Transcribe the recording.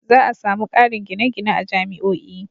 Za a sami ƙarin gine-gine a jami'o'i.